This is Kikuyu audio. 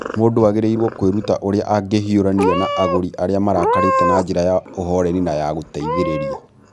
Mũndũ agĩrĩirũo kwĩruta ũrĩa angĩhiũrania na agũri arĩa marakarĩte na njĩra ya ũhooreri na ya gũteithĩrĩria.